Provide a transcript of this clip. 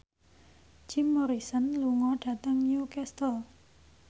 Jim Morrison lunga dhateng Newcastle